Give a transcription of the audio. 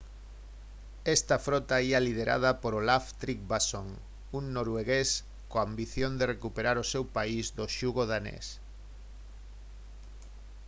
esta frota ía liderada por olaf trygvasson un noruegués coa ambición de recuperar o seu país do xugo danés